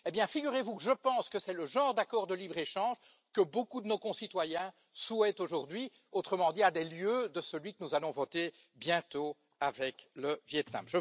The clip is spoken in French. Eh bien, figurez vous que je pense que c'est le genre d'accord de libre échange que beaucoup de nos concitoyens souhaitent aujourd'hui, autrement dit à des lieues de celui que nous allons voter bientôt avec le Viêt Nam.